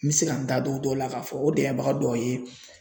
N bɛ se ka n da don o dɔw la k'a fɔ o dɛmɛbaga dɔw ye